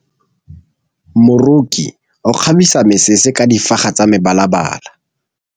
Moroki o kgabisa mesese ka difaga tsa mebalabala.